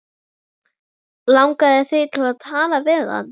Langaði þig til að tala við hann?